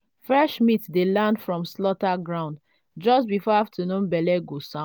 fresh meat dey land from slaughter ground just before afternoon belle go